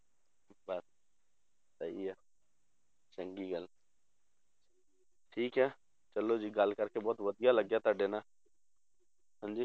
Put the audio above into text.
ਬਸ ਸਹੀ ਆ ਚੰਗੀ ਗੱਲ ਠੀਕ ਹੈ ਚਲੋ ਜੀ ਗੱਲ ਕਰਕੇ ਬਹੁਤ ਵਧੀਆ ਲੱਗਿਆ ਤੁਹਾਡੇ ਨਾਲ ਹਾਂਜੀ